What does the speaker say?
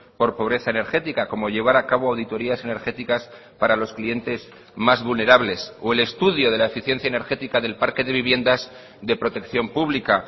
por pobreza energética como llevar a cabo auditorias energéticas para los clientes más vulnerables o el estudio de la eficiencia energética del parque de viviendas de protección pública